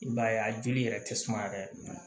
I b'a ye a joli yɛrɛ tɛ suma yɛrɛ